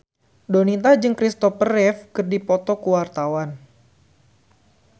Donita jeung Kristopher Reeve keur dipoto ku wartawan